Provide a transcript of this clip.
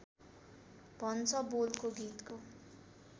भन्छ बोलको गीतको